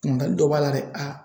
Ɲininkali dɔ b'a la dɛ aa